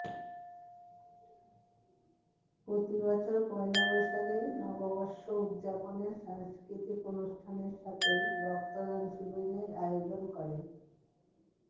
প্রতি বছর পয়লা বৈশাখে নববর্ষ উদযাপনে সাংস্কৃতিক অনুষ্ঠানের সাথেই রক্তদান শিবিরের আয়োজন করে